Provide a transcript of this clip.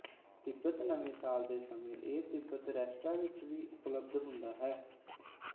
Tibetan ਨਵੇਂ ਸਾਲ ਦੇ ਸਮੇਂ ਇਹ ਤਿਬਤਨ ਰੈਸਟਰਾਂ ਵਿੱਚ ਵੀ ਉਪਲਬਧ ਹੁੰਦਾ ਹੈ